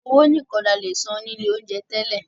Owó nìkan ní a lè san ní ilé oúnjẹ tẹ́lẹ̀.